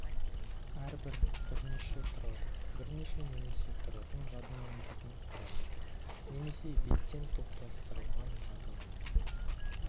әрбір бірнеше тұрады бірнеше немесе тұратын жадының битін құрайды немесе биттен топтастырылған жадының